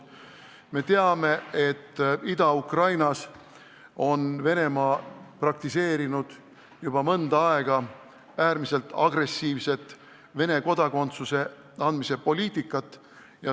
Me teame, et Ida-Ukrainas on Venemaa praktiseerinud juba mõnda aega äärmiselt agressiivset Vene kodakondsuse andmise poliitikat.